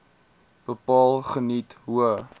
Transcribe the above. bepaal geniet hoë